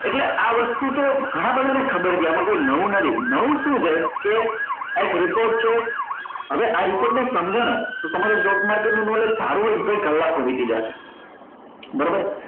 એટલે આ વસ્તુ તો ગણા બધા ને ખબર છે આમાં કઈ નવું નથી નવું શું છે કે આ એક report છે હવે આ report ને સમજો ને તો તમારું stock market નું knowledge સારું હોય ને તોય કલાકો વીતી જાય બરોબર